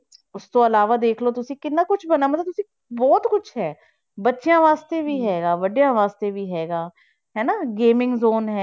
ਉਸ ਤੋਂ ਇਲਾਵਾ ਦੇਖ ਲਓ ਤੁਸੀਂ ਕਿੰਨਾ ਕੁਛ ਬਣਾ ਮਤਲਬ ਉੱਥੇ ਬਹੁਤ ਕੁਛ ਹੈ, ਬੱਚਿਆਂ ਵਾਸਤੇ ਵੀ ਹੈਗਾ ਵੱਡਿਆਂ ਵਾਸਤੇ ਵੀ ਹੈਗਾ, ਹੈਨਾ gaming zone ਹੈ